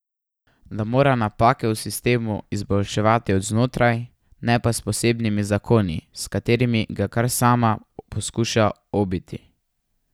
Da mora napake v sistemu izboljševati od znotraj, ne pa s posebnimi zakoni, s katerimi ga kar sama poskuša obiti.